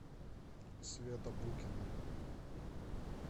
света букина